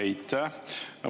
Aitäh!